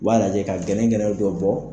U b'a lajɛ ka gɛlɛnkɛlɛn dɔ bɔ.